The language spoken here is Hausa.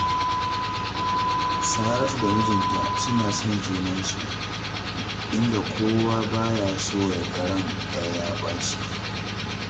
Saratu da mijinta suna son junansu, inda kowa ba ya so ya ga ran ɗaya ya ɓaci